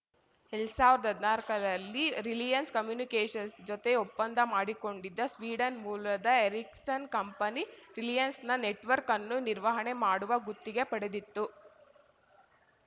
ಎಲ್ಡ್ ಸಾವ್ರ್ದ್ ಹದ್ನಾಲ್ಕರಲ್ಲಿ ರಿಲಿಯನ್ಸ್‌ ಕಮ್ಯುನಿಕೇಷನ್ಸ್‌ನ ಜೊತೆ ಒಪ್ಪಂದ ಮಾಡಿಕೊಂಡಿದ್ದ ಸ್ವೀಡನ್‌ ಮೂಲದ ಎರಿಕ್ಸನ್‌ ಕಂಪನಿ ರಿಲಯನ್ಸ್‌ನ ನೆಟವರ್ಕ್ ಅನ್ನು ನಿರ್ವಹಣೆ ಮಾಡುವ ಗುತ್ತಿಗೆ ಪಡೆದಿತ್ತು